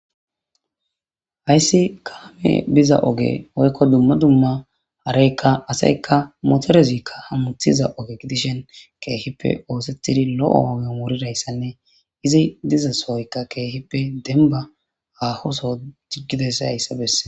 hayssi kaame biza oge oykko dumma dumma areykka aseykka motorezikka hamuthiza oge gidishen keehippe oosethidi lo7o oge omurirayssanne izi diza sohoykka keehippe denba hahoso jiggidesa hayssabesse